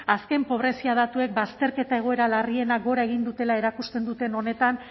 azken pobrezia datuek bazterketa egoera larrienak gora egiten dutela erakusten duten honetan